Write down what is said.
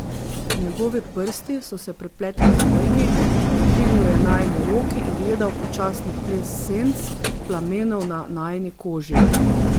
Njegovi prsti so se prepletli z mojimi, dvignil je najini roki in gledal počasni ples senc plamenov na najini koži.